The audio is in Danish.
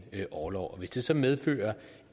orlov hvis det så medfører